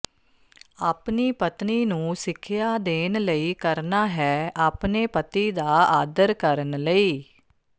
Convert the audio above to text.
ਆਪਣੀ ਪਤਨੀ ਨੂੰ ਸਿੱਖਿਆ ਦੇਣ ਲਈ ਕਰਨਾ ਹੈ ਆਪਣੇ ਪਤੀ ਦਾ ਆਦਰ ਕਰਨ ਲਈ